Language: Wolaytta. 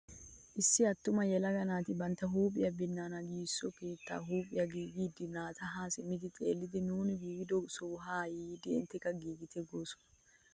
Issi attuma yelaga naati bantta huuphphiyaa binaana giigissiyoo keettan huuphphiyaa giigida naati haa simmidi xeelliidi nuni giigido sohuwaa haa yiidi intteka giigite goosona!